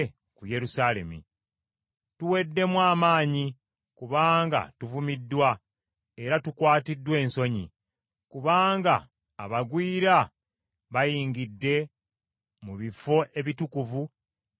“Tuweddemu amaanyi kubanga tuvumiddwa era tukwatiddwa ensonyi, kubanga abagwira bayingidde mu bifo ebitukuvu eby’ennyumba ya Mukama .”